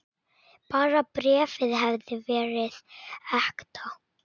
Bara bréfið hefði verið ekta!